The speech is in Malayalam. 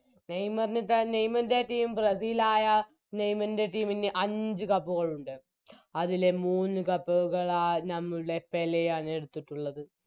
നെയ്‌മറിനുതന്നെ നെയ്മറിൻറെ Team ബ്രസീലായ നെയ്‍മൻറെ Team ന് അഞ്ച് Cup ഉകൾ ഉണ്ട് അതിലെ മൂന്ന് Cup കളാ നമ്മളുടെ പേലെയാണ് എടുത്തിട്ടുള്ളത്